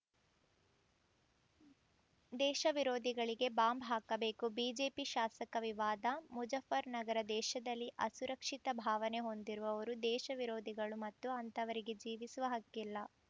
ದೇಶ ವಿರೋಧಿಗಳಿಗೆ ಬಾಂಬ್‌ ಹಾಕಬೇಕು ಬಿಜೆಪಿ ಶಾಸಕ ವಿವಾದ ಮುಜಫ್ಫರ್‌ನಗರ ದೇಶದಲ್ಲಿ ಅಸುರಕ್ಷಿತ ಭಾವನೆ ಹೊಂದಿರುವವರು ದೇಶ ವಿರೋಧಿಗಳು ಮತ್ತು ಅಂಥವರಿಗೆ ಜೀವಿಸುವ ಹಕ್ಕಿಲ್ಲ